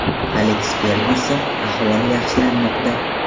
Aleks Fergyuson ahvoli yaxshilanmoqda.